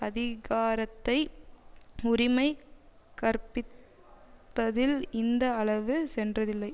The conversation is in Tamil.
அதிகாரத்தை உரிமை கற்பிப்பதில் இந்த அளவு சென்றதில்லை